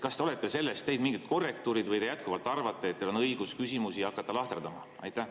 Kas te olete sellest teinud mingid korrektuurid või te jätkuvalt arvate, et teil on õigus hakata küsimusi lahterdama?